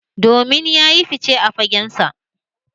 Domin ya yi fice a fagensa